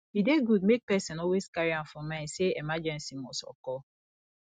e dey good make person always carry am for mind sey emergency must occur